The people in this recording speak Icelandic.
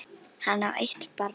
Hann á eitt barn.